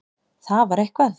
Það var eitthvað.